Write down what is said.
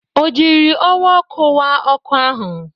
O jiri ọwa ọkụ wa ọkụ ahụ?